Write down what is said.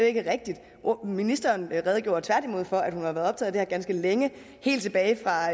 ikke rigtigt ministeren redegjorde tværtimod for at hun har været optaget af ganske længe helt tilbage fra